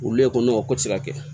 Olu lɛ kɔnɔ o ko tɛ se ka kɛ